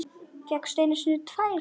Fékk einu sinni tvær.